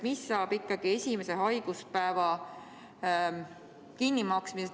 Mis saab ikkagi esimese haiguspäeva kinnimaksmisest?